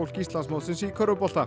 Íslandsmótsins í körfubolta